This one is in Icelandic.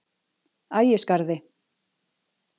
Ægisgarði